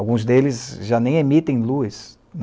Alguns deles já nem emitem luz.